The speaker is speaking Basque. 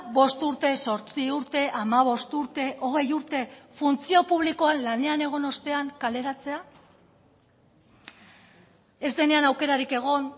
bost urte zortzi urte hamabost urte hogei urte funtzio publikoan lanean egon ostean kaleratzea ez denean aukerarik egon